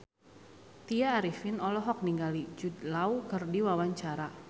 Tya Arifin olohok ningali Jude Law keur diwawancara